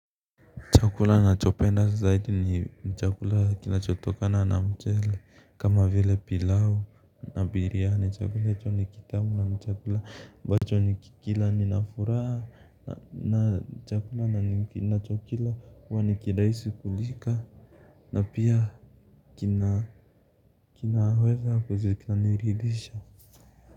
Chakula nachopenda zaidi ni chakula kinachotokana na mchele kama vile pilau na biriyani chakula hicho ni kitamu na chakula ambacho nikikila ninafuraha na chakula ninachokila huwa ni kirahisi kulika na pia kina kinaweza kuweza ikaniridhisha.